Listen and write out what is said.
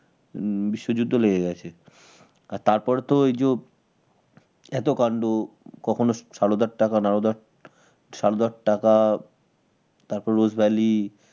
হম বিশ্বযুদ্ধ লেগে গেছে আর তারপরে তো ওই জো এত কান্ড কখনো কখনো সারদার টাকা নারদার সারদার টাকা তারপর Rose Valley